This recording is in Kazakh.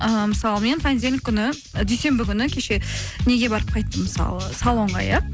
ыыы мысалы мен понедельник күні дүйсенбі күні кеше неге барып қайттым мысалы салонға иә